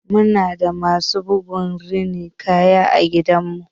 Muna da masu bugu da rinin kaya a gidanmu.